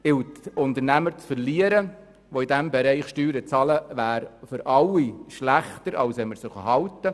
Unternehmen zu verlieren, die in diesem Bereich Steuern bezahlen, wäre für alle schlechter, als sie zu halten.